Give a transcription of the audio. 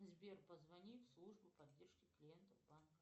сбер позвони в службу поддержки клиентов банка